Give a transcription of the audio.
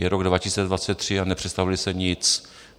Je rok 2023 a nepředstavili jste nic.